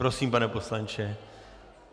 Prosím, pane poslanče.